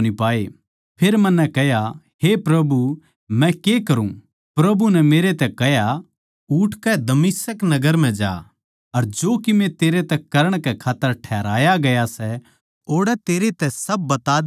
फेर मन्नै कह्या हे प्रभु मै के करूँ प्रभु नै मेरै तै कह्या उठकै दमिश्क नगर म्ह जा अर जो कीमे तेरै तै करण कै खात्तर ठहराया गया सै ओड़ै तेरै तै सब बता दिया जावैगा